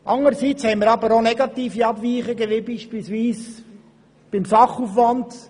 Anderseits haben wir aber auch negative Abweichungen, wie etwa beim Sachaufwand: